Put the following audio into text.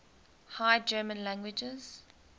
high german languages